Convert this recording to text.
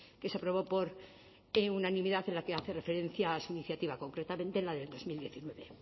que se aprobó por unanimidad en la que hace referencia a su iniciativa concretamente en la de dos mil diecinueve